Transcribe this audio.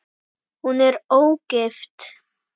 Hún er ógift.